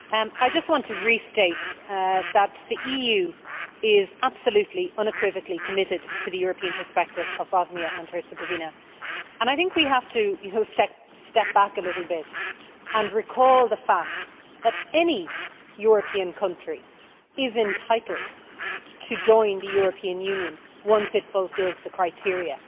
I just want to restate that the EU is absolutely unequivocally committed to the European perspective of Bosnia and Herzegovina, and I think we have to step back a little bit and recall the fact that any European country is entitled to join the European Union once it fulfils the criteria.